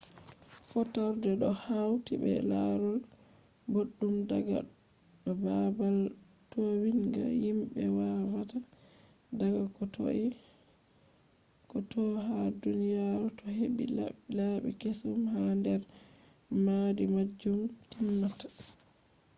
fotorde do hauti be larol boɗɗum daga do babal towinga. himbe va’ata daga ko toi ha duniyaru do heɓɓi labbi keesum ha nder mahdi majum je timmata